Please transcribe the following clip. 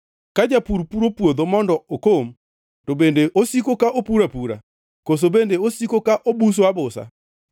Ka japur puro puodho mondo okom to bende osiko ka opuro apura? Koso bende osiko ka obuso abusa?